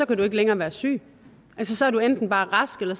kan du ikke længere være syg så er du enten bare rask eller